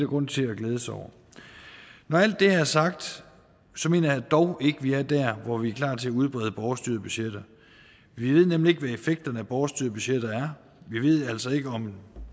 grund til at glæde sig over når alt det er sagt mener jeg dog ikke at vi er der hvor vi er klar til at udbrede borgerstyrede budgetter vi ved nemlig ikke hvad effekterne af borgerstyrede budgetter er vi ved altså ikke om